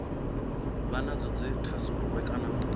vha nadzo dzi thasululwe kana